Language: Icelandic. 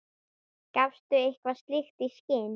Gafstu eitthvað slíkt í skyn?